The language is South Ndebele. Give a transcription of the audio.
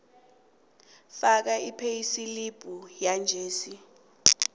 faka ipheyisilibhu yanjesi